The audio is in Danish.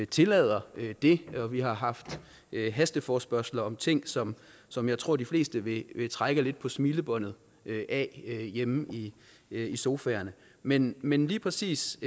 tillader det og vi har haft hasteforespørgsler om ting som som jeg tror de fleste vil trække lidt på smilebåndet ad hjemme i sofaen men men lige præcis